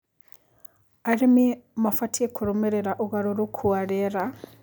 Arĩmĩ mabatĩe kũrũmĩrĩra ũgarũrũkũ wa rĩera